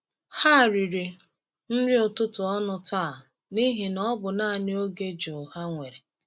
Ha riri nri ụtụtụ ọnụ taa n’ihi na ọ bụ naanị oge jụụ ha nwere.